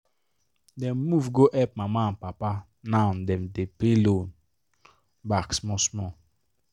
dem move go help mama and papa now dem dey pay loan back small small.